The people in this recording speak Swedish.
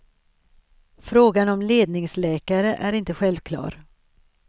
Frågan om ledningsläkare är inte självklar.